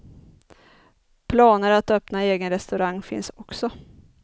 Planer att öppna egen restaurang finns också.